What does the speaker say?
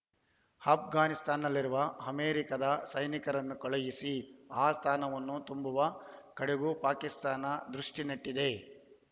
ಆಷ್ಘಾನಿಸ್ತಾನದಲ್ಲಿರುವ ಅಮೆರಿಕದ ಸೈನಿಕರನ್ನು ಕಳುಹಿಸಿ ಆ ಸ್ಥಾನವನ್ನು ತುಂಬುವ ಕಡೆಗೂ ಪಾಕಿಸ್ತಾನ ದೃಷ್ಟಿನೆಟ್ಟಿದೆ